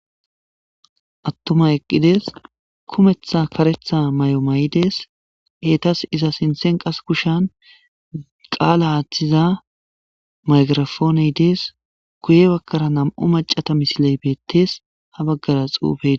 Attuma eqqidees kumetha karetha may7o may7i dees eetas iza sinthen qas kushan qaala aaththiza maygrafooney dees guye bakkara nam7u macata misiley beettes ha baggara xuufei.